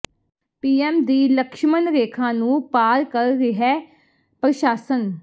PM ਦੀ ਲਕਸ਼ਮਣ ਰੇਖਾ ਨੂੰ ਪਾਰ ਕਰ ਰਿਹੈ ਪ੍ਰਸ਼ਾਸਨ